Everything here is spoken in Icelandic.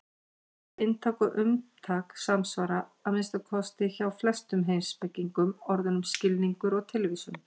Orðin inntak og umtak samsvara, að minnsta kosti hjá flestum heimspekingum, orðunum skilningur og tilvísun.